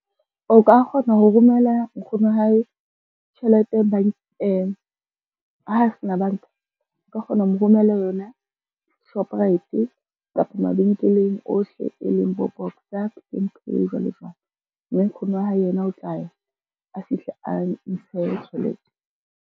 O ka kgona ho romela nkgono wa hae tjhelete bankeng ha sena banka, o ka kgona ho mo romella yona Shoprite kapa mabenkeleng ohle e leng bo Boxer, Pick n Pay, jwalo jwalo, mme nkgono wa hae yena o tla ya a fihle a ntshe tjhelete.